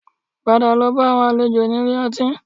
Padà lọ bá àwọn àlejò ní ilé ọtí